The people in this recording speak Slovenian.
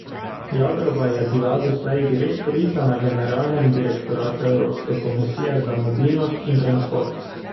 Jagrova je bila doslej direktorica na generalnem direktoratu Evropske komisije za mobilnost in transport.